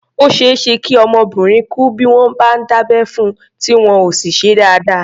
Ó ṣeé ṣe kí ọmọbìnrin kú bí wọ́n bá dábẹ́ fun, tí wọn ò sì ṣe é dáadáa.